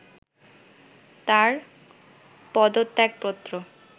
তাঁর পদত্যাগপত্র